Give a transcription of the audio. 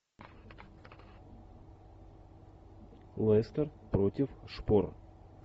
лестер против шпор